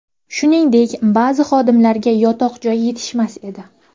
Shuningdek, ba’zi xodimlarga yotoq-joy yetishmas edi.